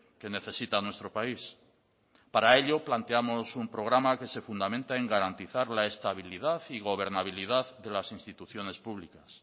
que necesita nuestro país para ello planteamos un programa que se fundamenta en garantizar la estabilidad y gobernabilidad de las instituciones públicas